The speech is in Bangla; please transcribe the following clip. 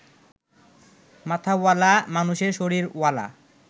মাথাওয়ালা মানুষের শরীরওয়ালা